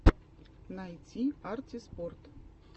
найти арти спорт